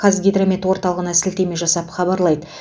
қазгидромет орталығына сілтеме жасап хабарлайды